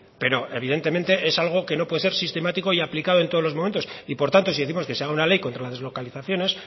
pero evidentemente es algo que no puede ser sistemático y aplicado en todos los momento y por tanto si décimos que se haga una ley contra la deslocalización